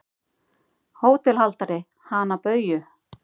HÓTELHALDARI: Hana Bauju?